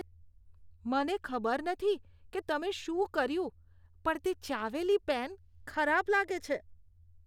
મને ખબર નથી કે તમે શું કર્યું પણ તે ચાવેલી પેન ખરાબ લાગે છે.